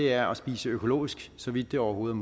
er at spise økologisk så vidt det overhovedet